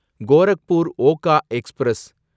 Gorakhpur Okha express